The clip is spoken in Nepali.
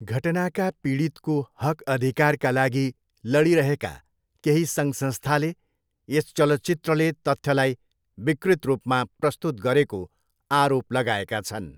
घटनाका पीडितको हकअधिकारका लागि लडिरहेका केही सङ्घसंस्थाले यस चलचित्रले तथ्यलाई विकृत रूपमा प्रस्तुत गरेको आरोप लगाएका छन्।